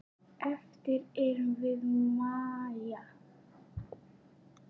Eftir erum við Maja.